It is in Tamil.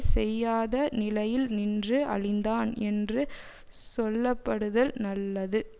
செய்யாத நிலையில் நின்று அழிந்தான் என்று சொல்ல படுதல் நல்லது